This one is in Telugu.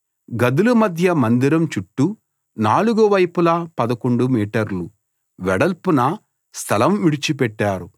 గదుల మధ్య మందిరం చుట్టూ నాలుగు వైపులా 11 మీటర్లు వెడల్పున స్థలం విడిచిపెట్టారు